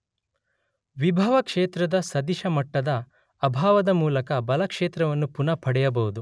ವಿಭವ ಕ್ಷೇತ್ರದ ಸದಿಶ ಮಟ್ಟದ ಅಭಾವದ ಮೂಲಕ ಬಲ ಕ್ಷೇತ್ರವನ್ನು ಪುನಃ ಪಡೆಯಬಹುದು.